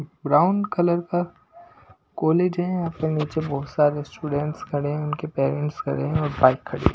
Brown colour का college है यहां पर नीचे बहुत सारे स्टूडेंट्स खड़े हैं उनके पेरेंट्स खड़े हैं और बाइक खड़ी है।